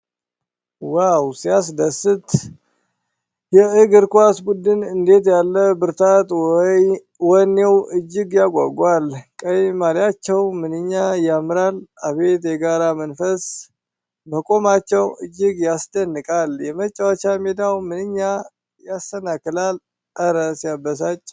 ዋው ሲያስደስት! የእግር ኳስ ቡድኑ እንዴት ያለ ብርታት! ወኔው እጅግ ያጓጓል። ቀይ ማሊያቸው ምንኛ ያምራል! አቤት የጋራ መንፈስ! መቆማቸው እጅግ ያስደንቃል። የመጫወቻ ሜዳው ምንኛ ያሰናክላል! እረ ሲያበሳጭ!